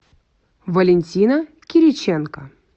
валентина кириченко